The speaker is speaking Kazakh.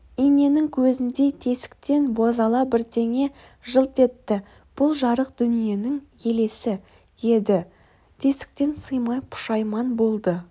иненің көзіндей тесіктен бозала бірдеңе жылт етті бұл жарық дүниенің елесі еді тесіктен сыймай пұшайман болды